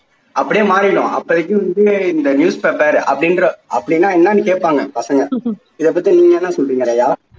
அப்படியே மாறிடும் அப்போதைக்கு வந்து இந்த news paper அப்படின்ற அப்படின்னா என்னன்னு கேட்பாங்க பசங்க இதை பத்தி நீங்க என்ன சொல்றீங்க ரியா?